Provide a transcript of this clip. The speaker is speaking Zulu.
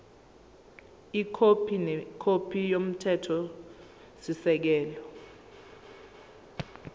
ikhophi nekhophi yomthethosisekelo